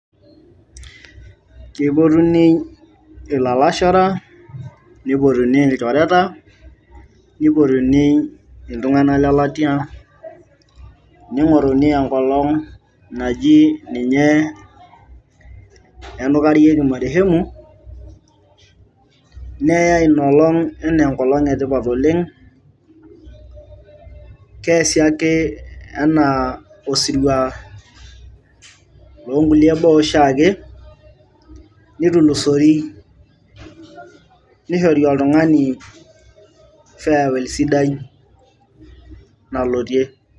keipotuni ilalashera nipotuni ilchoreta nipotuni iltung'anak lelatia ning'oruni enkolong naji ninye enkarieki marehemu neyai inolong enaa enkolong etipat oleng keesi ake enaa osirua loonkulie baa oshiake nitulusori nishori oltung'ani farewell sidai nalotie.